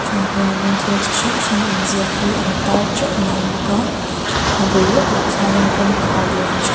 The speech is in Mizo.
ah hianin thil chi hrang hrang in tar hi a inziak teuh mai bawk a a bul lawkah chuan kawngkhar lian tha--